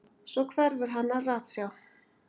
Svo hverfur hann af ratsjá.